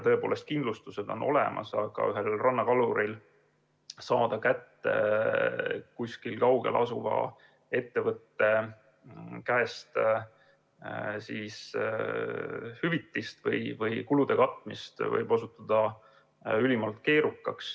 Tõepoolest, kindlustused on olemas, aga ühel rannakaluril võib olla ülimalt keerukas saada kätte kuskil kaugel asuva ettevõtte käest hüvitist või kulude katmist.